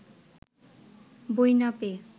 বই না পেয়ে